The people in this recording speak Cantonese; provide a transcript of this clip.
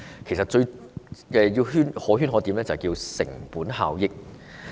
其實，當中最可圈可點的就是"成本效益"。